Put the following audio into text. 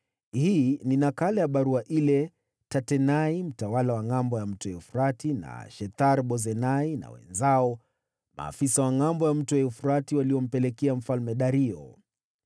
Hii ni nakala ya barua ile Tatenai, mtawala wa ngʼambo ya mto Frati na Shethar-Bozenai na wenzao maafisa wa ngʼambo ya mto Frati waliyompelekea Mfalme Dario.